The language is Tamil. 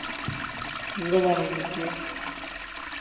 எங்க போன இன்னிக்கு